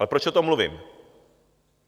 A proč o tom mluvím?